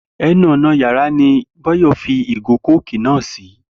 E̩nu ò̩nà yàrá ni Báyò̩ fi ìgò kóòkì náà sí